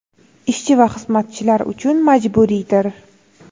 ishchi va xizmatchilari uchun majburiydir.